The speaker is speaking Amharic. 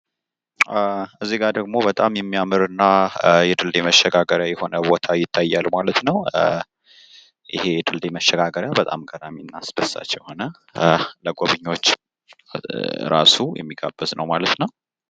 እዚጋ ደሞ በጣም የሚያምር እና የድልድይ መሸጋገሪያ የሆነ ቦታ ይታያል ማለት ነው። ይህ የድልድይ መሸጋገሪያ በጣም ገራሚ እና አስደሳች የሆነ ለጎብኚዎች እራሱ የሚጋብዝ ነው ማለት ነው።